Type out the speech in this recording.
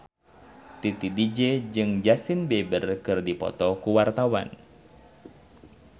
Titi DJ jeung Justin Beiber keur dipoto ku wartawan